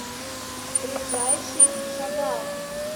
ближайший шагал